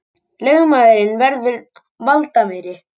Lögmaðurinn verður valdameiri